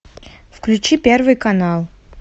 включи первый канал